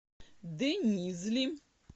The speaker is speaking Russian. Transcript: денизли